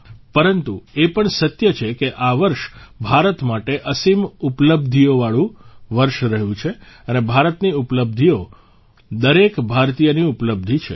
પરંતુ એ પણ સત્ય છે કે આ વર્ષ ભારત માટે અસીમ ઉપલબ્ધિવાળું વર્ષ રહ્યુ છે અને ભારતની ઉપલબ્ધિઓ દરેક ભારતીયની ઉપલબ્ધિ છે